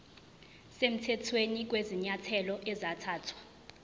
semthethweni kwezinyathelo ezathathwa